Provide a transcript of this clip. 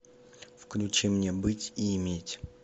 включи мне быть и иметь